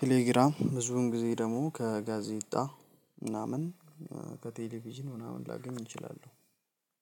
ቴሌግራም ብዙውን ጊዜ ደግሞ ከጋዜጣ ምናምን ከቴሌቪዥን ምናምን ላገኝ እንችላለን።